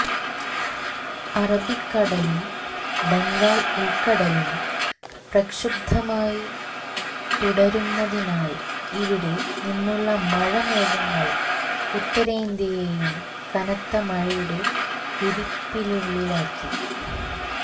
അറബിക്കടലും ബംഗാൾ ഉൾക്കടലും പ്രക്ഷുബ്ദമായി തുടരുന്നതിനാൽ ഇവിടെ നിന്നുള്ള മഴ മേഘങ്ങൾ ഉത്തരേന്ത്യയെയും കനത്ത മഴയുടെ വിരിപ്പിനുള്ളിലാക്കി